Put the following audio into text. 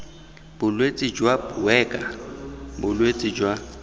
bolwetse jwa buerger bolwetse jwa